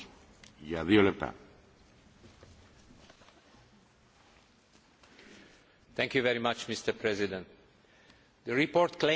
Mr President, the report claims that the Arab Spring is the greatest political transformation in the European Neighbourhood since the fall of the Berlin Wall.